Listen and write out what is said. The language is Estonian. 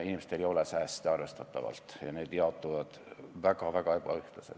Inimestel ei ole arvestataval määral sääste ja need, mis on, jaotuvad väga-väga ebaühtlaselt.